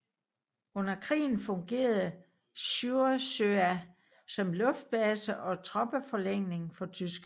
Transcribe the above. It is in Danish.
Under krigen fungerede Sjursøya som luftbase og troppeforlægning for tyskerne